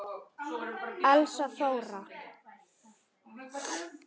Elsa Þóra.